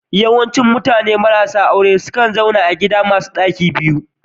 Yawancin mutane marasa aure sukan zauna a cikin gidaje masu ɗaki biyu